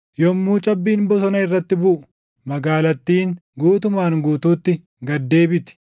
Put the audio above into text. Yommuu cabbiin bosona irratti buʼu, magaalattiin guutumaan guutuutti gad deebiti;